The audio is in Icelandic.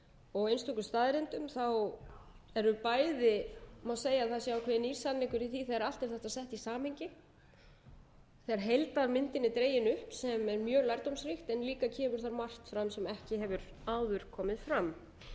og einstöku staðreyndum eru bæði má segja að það sé ákveðinn nýr samningur í því þegar allt er þetta sett í samhengi þegar heildarmyndin er dregin upp sem er mjög lærdómsríkt en líka kemur þar líka margt fram sem ekki hefur áður komið fram